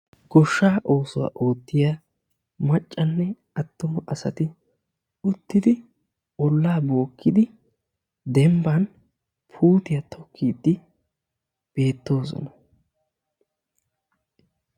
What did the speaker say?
Goshshaa oosuwa oottiya maccanne attuma asati uttidi ollaa bookkidi dembban puutiya tokkiiddi beettoosona.